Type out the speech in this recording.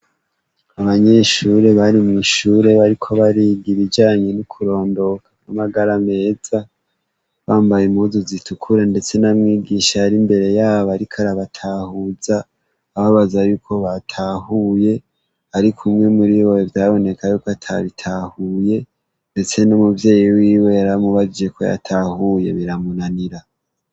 Abanyeshure bari mw'ishure bariko bariga ibijanye n'ukurondoka ko amagara ameza, bambaye imuzu zitukura, ndetse n'amwigisha ari imbere yabo ariko arabatahuza, ababaza yuko batahuye, ariko umwe muri bwwe vyaboneka yuko atabitahuye, ndetse no mubveyi wiwe yaramubajije ko yatahuye biramunanira.